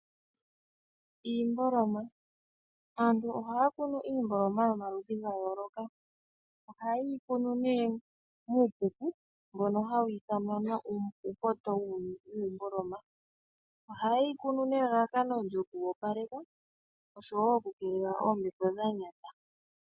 Iimbolima! Aantu ohaa kunu iimboloma yomaludhi gayooloka. Ohaye yi kunu nee muupuku mbono ha wiithanwa uupoto wuumboloma, ohaye yi kunu nelalakano lyoku opaleka osho wo okukeelela oombepo dha nyata.